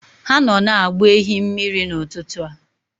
Ha nọ na-agba ehi mmiri n'ụtụtụ a